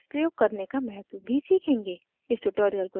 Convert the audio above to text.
हम layers प्रयोग करने का महत्व भी सीखेंगे